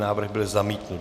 Návrh byl zamítnut.